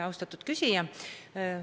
Austatud küsija!